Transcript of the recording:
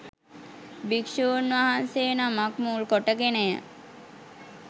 භික්‍ෂූන් වහන්සේ නමක් මුල්කොට ගෙනය.